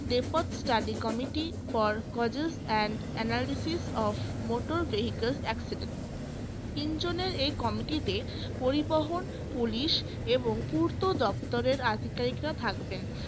depot study committee for causes and analysis of motor vehicle accident তিনজনের এই committee পরিবহন police এবং পূর্ত দপ্তরের আধিকারিকরা থাকবেন